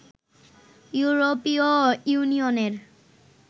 ইউরোপীয় ইউনিয়নের